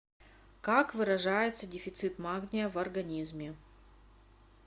как выражается дефицит магния в организме